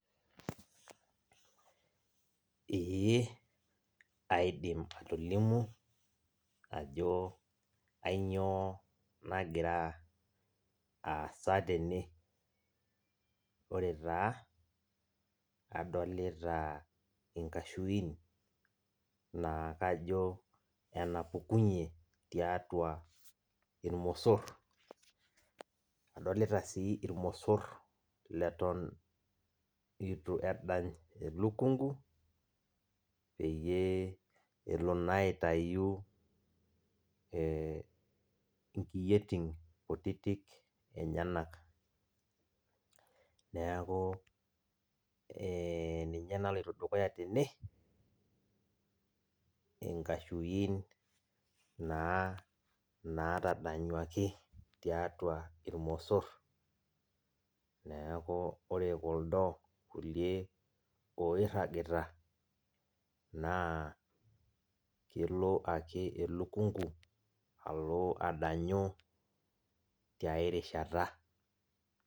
Ee aidim atolimu ajo kanyio nagira aasa tene, ore taa adolta nkashuin nakajo enapukunye tiatu irmosor, adolita si irmosor latan litu endany elukungu peyie elo na aitau nkiyeitin kutitik enyenak, neaku ninye naloito dukuya tene enkashui na natadanyaki tiatua irmosor, neaku ore kuldo kulie oiragita na kelo ake elukungu alo adanyu tiai rishata.